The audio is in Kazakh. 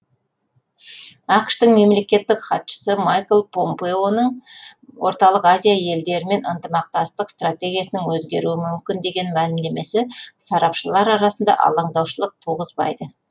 ақш тың мемлекеттік хатшысы майкл помпеоның орталық азия елдерімен ынтымақтастық стратегиясының өзгеруі мүмкін деген мәлімдемесі сарапшылар арасында алаңдаушылық туғызбайды